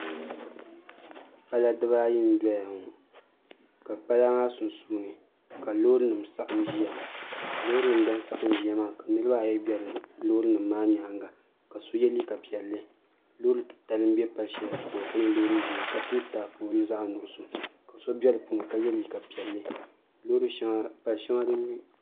Pala dibaayi n doya ŋɔ ka pala maa sunsuuni ka loori nim saɣam ʒiya loori nim din saɣam ʒiya maa ka niraba ayi bɛ loori nim maa nyaanga ka so yɛ liiga piɛlli loori titali n bɛ pali shɛli zuɣu ŋɔ ka nyɛ loori ʒiɛ ka pili taapoli zaɣ nuɣso so bɛ bi puuni ka yɛ liiga piɛlli loori shɛŋa pali shɛŋa